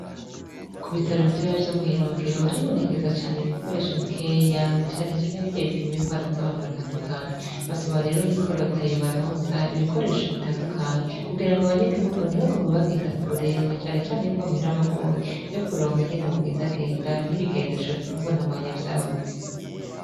Ku bitaro bitoya vyo mwirongero haribonekeza cane ibikoresho bikeya na canecane birya bipima ingwara z'abantu batandukanye basaba rero yuko reta yobaronsa ibikoresho bitandukanye kugira ngo abanyagihugu ntibagume bagenda kure na canecane yuko amahera aba agoye yokuronka ingene bagendagenda n'ibigendesho nubu nabonye vyabuze.